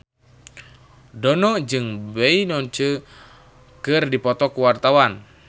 Dono jeung Beyonce keur dipoto ku wartawan